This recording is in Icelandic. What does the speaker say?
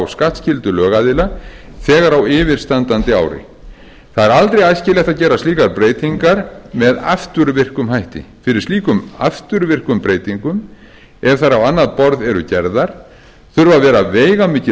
skattskyldu lögaðila þegar á yfirstandandi ári það er aldrei æskilegt að gera slíkar breytingar með afturvirkum hætti fyrir slíkum afturvirkum breytingum ef þær á annað borð eru gerðar þurfa að vera veigamikil